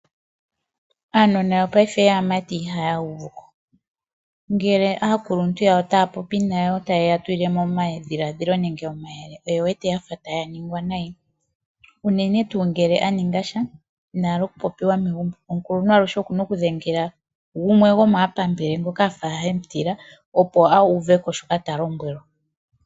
Aanona yongashingeyi yaamati ihaya uvuko. Ngele aakuluntu yawo taa popi nayo taye ya tulile mo omadhiladhilo nenge omayele oye wete yafa taya ningwa nayi, unene tuu ngele a ningasha inahala okupopiwa megumbo. Omukuluntu aluhe okuna okudhengela gumwe ngoka gwomaapambele afa emutila opo auveko shoka talombwelwa.